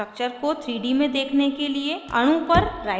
structure को 3 D में देखने के लिए अणु पर right click करें